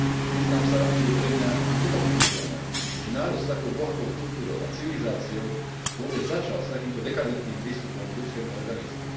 Priznám sa, že je pre mňa nepochopiteľné, že národ s takou bohatou kultúrou a civilizáciou vôbec začal s takýmto dekadentným prístupom k ľudskému organizmu.